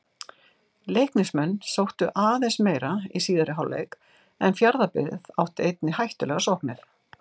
Leiknismenn sóttu aðeins meira í síðari hálfleik en Fjarðabyggð átti einnig hættulegar sóknir.